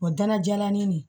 O dana jalanin nin